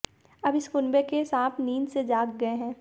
अब इस कुनबे के सांप नींद से जाग गए हैं